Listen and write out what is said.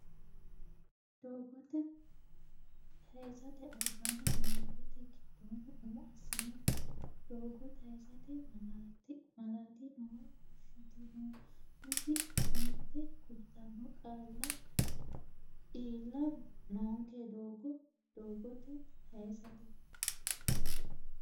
Doogo taysate albaanni niwaawete giddonni umo assine doogo taysate malaati noowa fushshitinoonniti aante kultanno qaalla iilla noonke Doogo Doogo taysate.